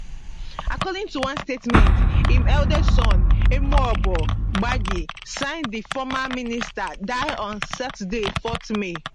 according to one statement im eldest son emuoboh gbagi sign di former minister die on saturday 4 may